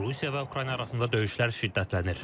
Rusiya və Ukrayna arasında döyüşlər şiddətlənir.